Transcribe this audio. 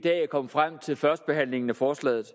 kom frem til førstebehandlingen af forslaget